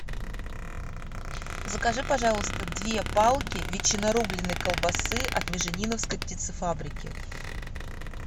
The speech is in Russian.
закажи пожалуйста две палки ветчинорубленой колбасы от межениновской птицефабрики